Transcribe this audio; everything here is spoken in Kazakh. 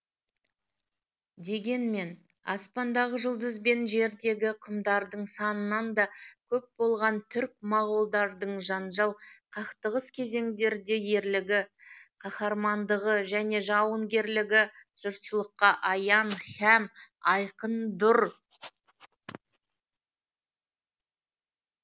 дегенмен аспандағы жұлдыз бен жердегі құмдардың санынан да көп болған түрк моғолдардың жанжал қақтығыс кезеңдерде ерлігі қаһармандығы және жауынгерлігі жұртшылыққа аян һәм айқын дұр